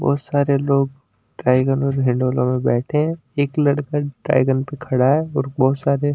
बहोत सारे लोग ड्राइगन और हिंडोला में बैठे हैं। एक लड़का ड्रैगन पर खड़ा है और बहोत सारे --